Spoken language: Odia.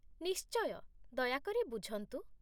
ନିଶ୍ଚୟ। ଦୟାକରି ବୁଝନ୍ତୁ!